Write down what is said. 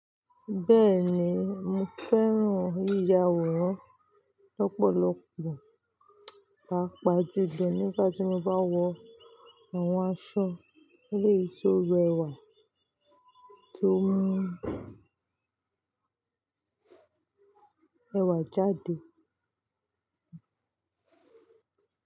Bẹ́ẹ̀ni, mo fẹ́ràn yíya aworan lọ́pọ̀lọpọ̀, pàápàá díbẹ̀ nígbà tí mo bá wọ àwọn aṣọ eleyi tọ rẹwà tó mú ẹwà jáde.